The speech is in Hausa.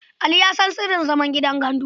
Ali ya san sirrin zaman gandu.